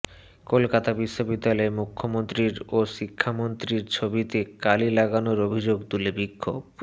কলকাতা বিশ্ববিদ্যালয়ে মুখ্যমন্ত্রী ও শিক্ষামন্ত্রীর ছবিতে কালি লাগানোর অভিযোগ তুলে বিক্ষোভ